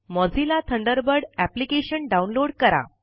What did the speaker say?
Mozilla Thunderbird application download करा